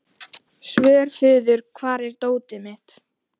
Svörfuður, hvar er dótið mitt?